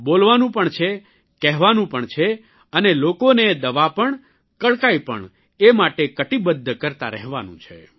બોલવાનું પણ છે કહેવાનું પણ છે અને લોકોનેય દવા પણ કડકાઇ પણ એ માટે કટીબદ્ધ કરતા રહેવાનું છે